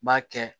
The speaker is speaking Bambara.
N b'a kɛ